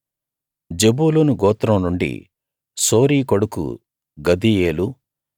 జెబూలూను గోత్రం నుండి సోరీ కొడుకు గదీయేలు